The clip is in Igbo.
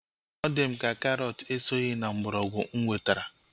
Ọ di m ka karọt esoghị na mgbọrọgwụ mụ wetara